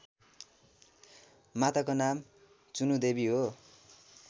माताको नाम चुनुदेवी हो